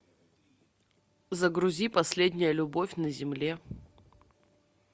загрузи последняя любовь на земле